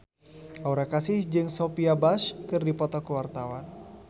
Aura Kasih jeung Sophia Bush keur dipoto ku wartawan